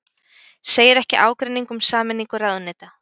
Segir ekki ágreining um sameiningu ráðuneyta